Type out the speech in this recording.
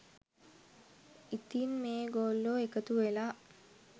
ඉතින් මේ ගොල්ලෝ එකතු වෙලා